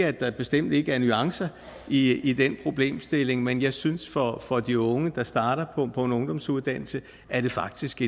at der bestemt ikke er nuancer i i den problemstilling men jeg synes for for de unge der starter på en ungdomsuddannelse er det faktisk